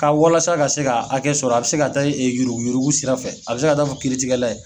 Ka walasa ka se k' hakɛ sɔrɔ, a bɛ se ka taa yuruguyurugu sira fɛ, a bɛ se ka'a fɔ kiritigɛla ye.